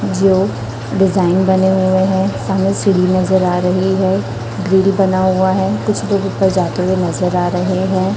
जो डिजाइन बने हुए हैं। सामने सीढ़ी नजर आ रही है। ग्रील बना हुआ है। कुछ लोग ऊपर जाते हुए नजर आ रहे हैं।